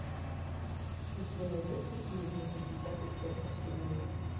у тебя найдется фильм на пятьдесят оттенков темнее